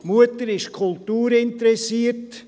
Die Mutter ist kulturinteressiert.